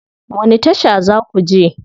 Wani tasha za ku je?